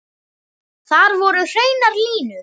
Þar voru hreinar línur.